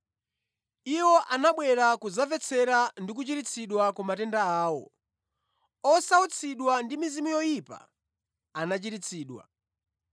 Iwo anabwera kudzamvetsera ndi kuchiritsidwa ku matenda awo. Osautsidwa ndi mizimu yoyipa anachiritsidwa,